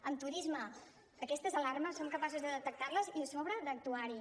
en turisme aquestes alarmes som capaços de detectar les i a sobre d’actuar hi